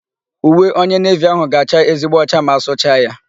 Uwe onye nevi áhụ̀ ga-acha ezigbo ọcha ma a sụcha ya.